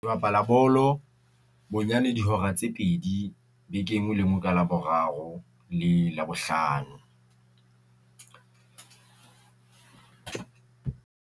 Bapala bolo bonyane dihora tse pedi beke e nngwe le nngwe, ka Laboraro le Labohlano.